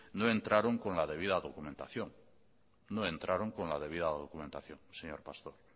no entraron con la debida documentación señor pastor